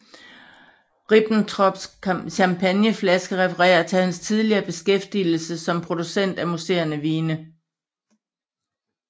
Ribbentrops champagneflaske refererer til hans tidligere beskæftigelse som producent af musserende vine